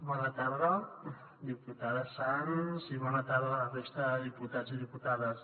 bona tarda diputada sans i bona tarda a la resta de diputats i diputades